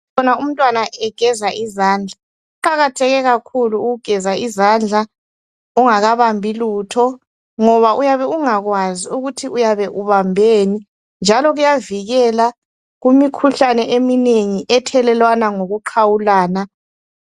Sibona umntwana egeza izandla. Kuqakatheke kakhulu ukugeza izandla, ungakabambi lutho, ngoba uyabe ungakwazi ukuthi uyabe ubambeni, njalo kuyavikela kumikhuhlane eminengi, ethelelwana ngokuqhawulana.